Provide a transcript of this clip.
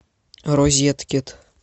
розеткед